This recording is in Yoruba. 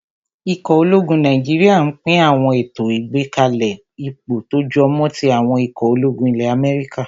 Ikọ̀ ológun Nàìjíríyà n pín àwọn ètò ìgbákalẹ̀ ipò tó jọmọ́ tí àwọn ikọ̀ ológun ilẹ́ Amẹ́ríkà